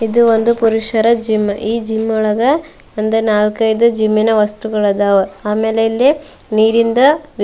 ಇದು ಒಂದು ಪುರುಷರ ಜಿಮ್ ಈ ಜಿಮ್ ಒಳಗೆ ಒಂದು ನಾಕೈದು ಜಿಮ್ನ ವಸ್ತುಗಳು ಇದ್ದವ ಆಮೇಲೆ ಇಲ್ಲಿ ನೀರಿಂದ --